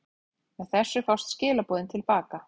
Með þessu fást skilaboðin til baka.